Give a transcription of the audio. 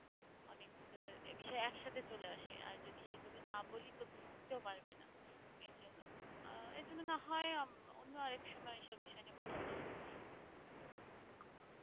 অনেক বিষয়ে একসাথে চলে আসে আর যদি সেভাবে না বলি তো বুঝতেও পারবেনা এইজন্য এই জন্য না হয় অন্য আরএকসময় এইসব বিষয় নিয়ে কথা বলব